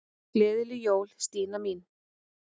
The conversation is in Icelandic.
Gleðileg jól, Stína mín.